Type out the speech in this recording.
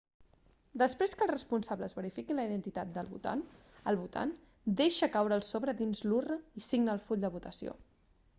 després que els responsables verifiquin la identitat del votant el votant deixa caure el sobre dins l'urna i signa el full de votació